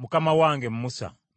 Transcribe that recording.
“Mukama wange Musa, baziyize.”